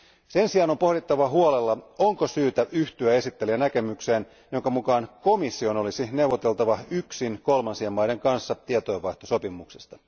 Sen sijaan on pohdittava huolella, onko syytä yhtyä esittelijän näkemykseen, jonka mukaan komission olisi neuvoteltava yksin kolmansien maiden kanssa tietojenvaihtosopimuksista.